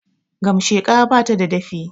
Gamasheka bata da dafi